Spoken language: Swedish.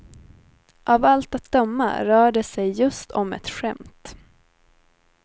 Av allt att döma rör det sig just om ett skämt.